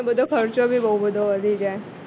ને બધો ખર્ચો બી બોવ બધો વધી જાય